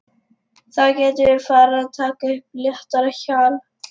Þá getum við farið að taka upp léttara hjal!